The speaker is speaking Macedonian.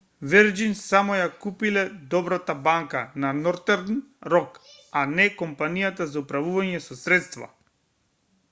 вирџин само ја купиле добрата банка на нортерн рок а не компанијата за управување со средства